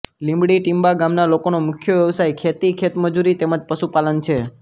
લીમડી ટિંબા ગામના લોકોનો મુખ્ય વ્યવસાય ખેતી ખેતમજૂરી તેમ જ પશુપાલન છે